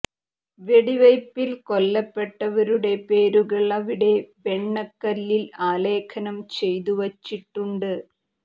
വെടിവയ്പ്പിൽ കൊല്ലപ്പെട്ടവരുടെ പേരുകൾ അവിടെ വെണ്ണക്കല്ലിൽ ആലേഖനം ചെയ്തു വച്ചിട്ടുണ്ട്